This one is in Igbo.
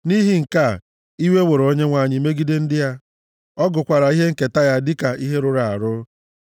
Nʼihi nke a, iwe were Onyenwe anyị megide ndị ya; ọ gụkwara ihe nketa ya dịka ihe rụrụ arụ.